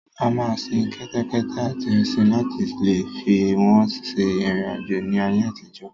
A máa ń sin kẹ́tẹ́kẹ́tẹ́ àti ẹṣin láti leè fi wọ́n ṣe ìrìn àjò ní ayé àtijọ́.